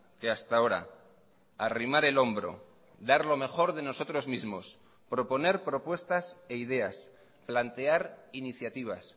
que hasta ahora arrimar el hombro dar lo mejor de nosotros mismos proponer propuestas e ideas plantear iniciativas